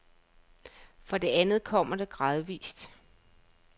For det andet kommer det gradvis.